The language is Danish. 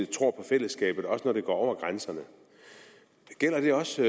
tror på fællesskabet også når det går over grænserne gælder det også